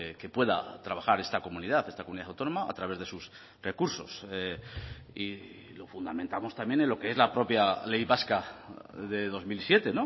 que pueda trabajar esta comunidad esta comunidad autónoma a través de sus recursos y lo fundamentamos también en lo que es la propia ley vasca de dos mil siete